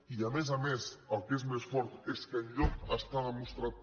i a més a més el que és més fort és que enlloc està demostrat